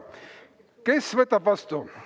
Kes võtab vastu?